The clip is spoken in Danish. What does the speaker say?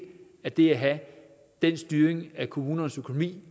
af det at have den styring af kommunernes økonomi